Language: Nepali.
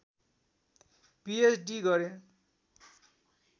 पीएच्डी गरे